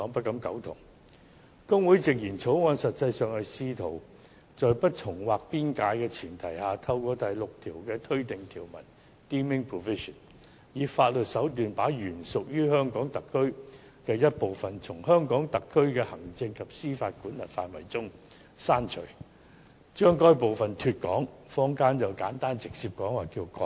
大律師公會直言，《條例草案》實際上是試圖在不重劃邊界的前提下，透過第6條的"推定條文"，以法律手段把原屬於香港特區的一部分，從香港特區的行政及司法管轄範圍中剔除，把該部分"脫港"，坊間直截了當稱之為"割地"。